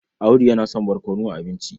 Audu yana son barkono a abinci.